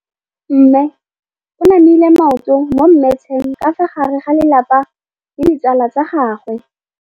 Mme o namile maoto mo mmetseng ka fa gare ga lelapa le ditsala tsa gagwe.